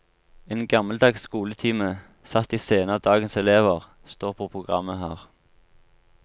En gammeldags skoletime, satt i scene av dagens elever, står på programmet her.